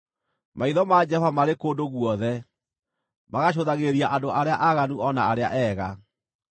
Maitho ma Jehova marĩ kũndũ guothe, magacũthagĩrĩria andũ arĩa aaganu o na arĩa eega.